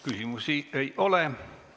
Küsimusi ei ole.